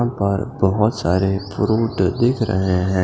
यहां पर बहुत सारे फ्रूट दिख रहे हैं।